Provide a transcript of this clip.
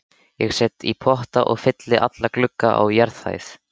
Ég set í potta og fylli alla glugga á jarðhæð.